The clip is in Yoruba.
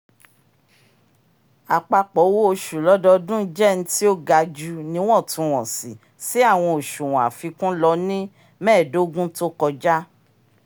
apapọ òwò oṣù lọdọọdun jẹ ntì o gaju n'iwọntunwọnsi sí awọn oṣuwọn àfikún lọ ni mẹẹdogun to kọja